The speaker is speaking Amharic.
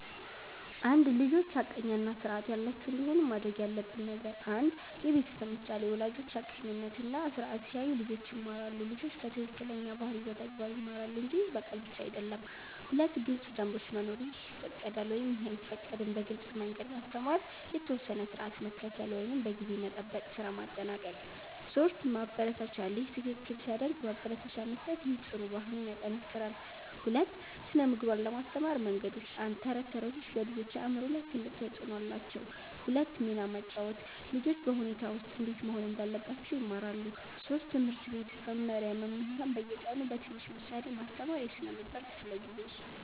1) ልጆች ሐቀኛ እና ስርዓት ያላቸው እንዲሆኑ ማድረግ ያለብን ነገር 1. የቤተሰብ ምሳሌ ወላጆች ሐቀኝነት እና ስርዓት ሲያሳዩ ልጆች ይማራሉ ልጆች ከትክክለኛ ባህሪ በተግባር ይማራሉ እንጂ በቃል ብቻ አይደለም 2. ግልጽ ደንቦች መኖር “ይህ ይፈቀዳል / ይህ አይፈቀድም” በግልጽ መንገድ ማስተማር የተወሰነ ስርዓት መከተል (ጊዜ መጠበቅ፣ ስራ ማጠናቀቅ 3 ማበረታቻ ልጅ ትክክል ሲያደርግ ማበረታቻ መስጠት ይህ ጥሩ ባህሪን ይጠናክራል 2) ስነ ምግባር ለማስተማር መንገዶች 1. ተረቶች ተረቶች በልጆች አእምሮ ላይ ትልቅ ተፅዕኖ አላቸው 2 ሚና መጫወት ልጆች በሁኔታ ውስጥ እንዴት መሆን እንዳለባቸው ይማራሉ 3. ትምህርት ቤት መመሪያ መምህራን በየቀኑ በትንሽ ምሳሌ ማስተማር የስነ ምግባር ክፍለ ጊዜ